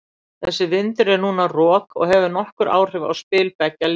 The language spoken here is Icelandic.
Þessi vindur er núna rok og hefur nokkur áhrif á spil beggja liða.